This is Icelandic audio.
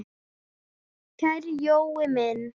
Kæri Jói minn.